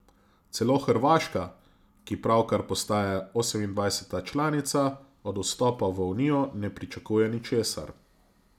Celo Hrvaška, ki pravkar postaja osemindvajseta članica, od vstopa v Unijo ne pričakuje ničesar.